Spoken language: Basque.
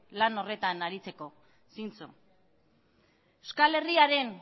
lan horretan aritzeko zintzo euskal herriaren